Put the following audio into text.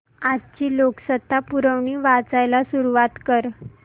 आजची लोकसत्ता पुरवणी वाचायला सुरुवात कर